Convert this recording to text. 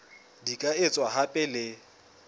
di ka etswa hape le